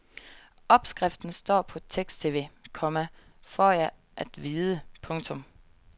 Opskriften står på teksttv, komma får jeg at vide. punktum